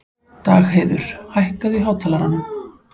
Dagheiður, hækkaðu í hátalaranum.